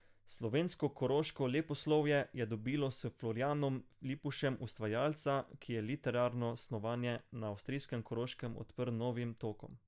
Slovensko koroško leposlovje je dobilo s Florjanom Lipušem ustvarjalca, ki je literarno snovanje na avstrijskem Koroškem odprl novim tokovom.